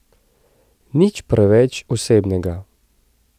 Nič preveč osebnega.